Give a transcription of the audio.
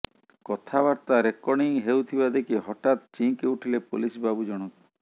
କଥାବର୍ତ୍ତା ରେକର୍ଡିଂ ହେଉଥିବା ଦେଖି ହଠାତ୍ ଚିହିଁକି ଉଠିଲେ ପୋଲିସ ବାବୁ ଜଣକ